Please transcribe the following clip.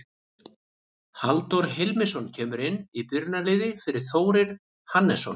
Halldór Hilmisson kemur inn í byrjunarliðið fyrir Þórir Hannesson.